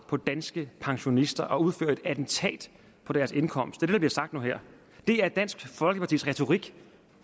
på danske pensionister og udfører et attentat på deres indkomst er der blev sagt nu her er dansk folkepartis retorik